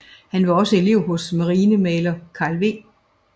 Han var også elev hos marinemaler Carl W